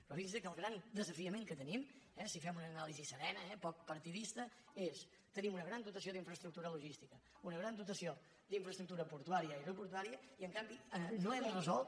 però fixin se que el gran desafiament que tenim eh si fem una anàlisi serena poc partidista és tenim una gran dotació d’infraestructura logística una gran dotació d’infraestructura portuària i aeroportuària i en canvi no hem resolt